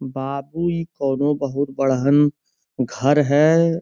बाबू इ कनो बहुत बढहन घर है।